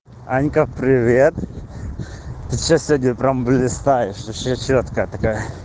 анька привет ты что сегодня прямо блистаешь вообще чёткая такая